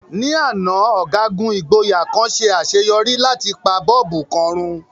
Ní àná, ọ̀gágun ìgboyà kan ṣe àṣeyọrí láti pa bọ́bù kan run.